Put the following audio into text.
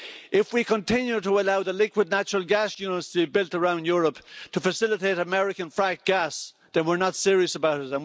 If we continue to allow the liquid natural gas units to be built around Europe to facilitate American frack gas, then we are not serious about it.